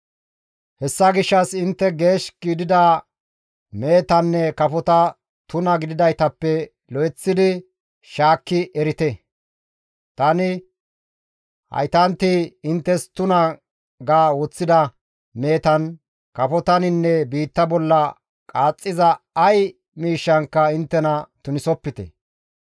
« ‹Hessa gishshas intte geesh gidida mehetanne kafota tuna gididaytappe lo7eththidi shaakki erite; tani haytanti inttes tuna ga woththida mehetan, kafotaninne biitta bolla qaaxxiza ay miishshankka inttena tunisopite.